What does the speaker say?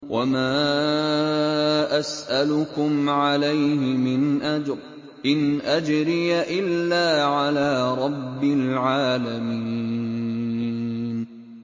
وَمَا أَسْأَلُكُمْ عَلَيْهِ مِنْ أَجْرٍ ۖ إِنْ أَجْرِيَ إِلَّا عَلَىٰ رَبِّ الْعَالَمِينَ